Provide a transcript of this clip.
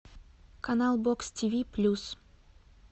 канал бокс тиви плюс